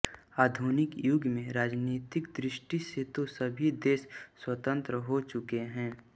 आधुनिक युग में राजनीतिक दृष्टि से तो सभी देश स्वतन्त्र हो चुके हैं